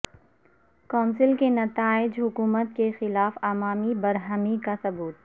council کے نتائج حکومت کے خلاف عوامی برہمی کا ثبوت